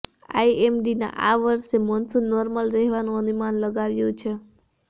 આઈએમડીના આ વર્ષે monsoon normal રહેવાનું અનુમાન લગાવ્યું છે